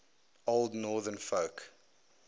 old northern folk